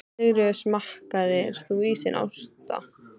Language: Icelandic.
Sigríður: Smakkaðir þú ísinn, Ásta?